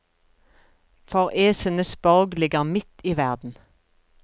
For æsenes borg ligger midt i verden.